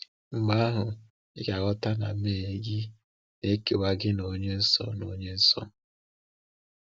Mgbe ahụ ị ga-aghọta na mmehie gị na-ekewa gị na Onye Nsọ. na Onye Nsọ.